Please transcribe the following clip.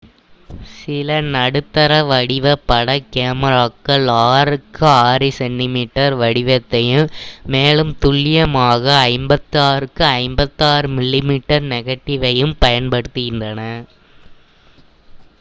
சில நடுத்தர வடிவ பட கேமராக்கள் 6 க்கு 6 cm வடிவத்தையும் மேலும் துல்லியமாக 56 க்கு 56 mm நெகடிவ்வையும் பயன்படுத்துகின்றன